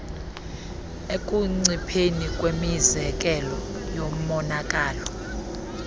ekuncipheni kwemizekelo yomonakalo